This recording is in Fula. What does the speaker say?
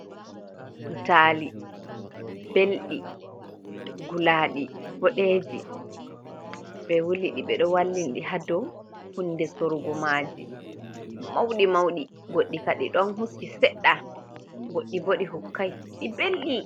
Ɓutali ɓelɗi, gulaɗi, boɗeji, ɓe wuliɗi ɓeɗo wallidi ni ha dou hunɗe sorgo maji, mauɗi - mauɗi, goɗɗi ka ɗi ɗon hukki, seɗɗa, goɗɗi bo ɗi hukkai ɗi ɓelɗi.